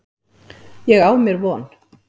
Ég á mér von.